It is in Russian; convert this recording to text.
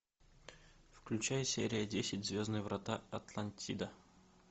включай серия десять звездные врата атлантида